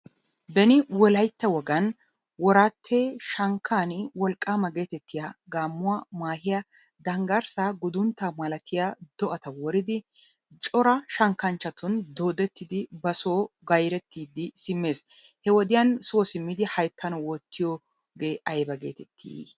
Benni wolayttaa woganni woratte shankanni wolqamma getettiyaa gamuwaa, mahiyaa, dangarssaa, gudunttaa malatiyaa do'attaa woriddi choraa shankkanchatunni doodetiddi ba soo gayrettiddi i simessi he wodiyan soo simiddi hayttaan wottiyogee aybaa getetti?